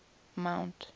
mount